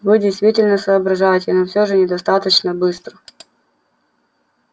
вы действительно соображаете но все же недостаточно быстро